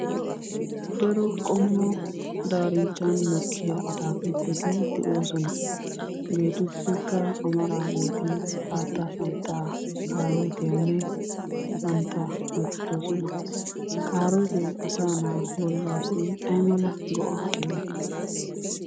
Daro qommo daarinchchan mokkiya ataakiltteti de'oosona. Hageetuppekka amaraageeti xaatta santtaa, kaarootiyanne santtaa geetettoosona. Kaarootee asaanaa bollaassi ay keena go'aa immii?